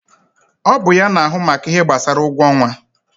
Ọ bụ ya na ahụ maka ihe gbasara ụgwọ ọnwa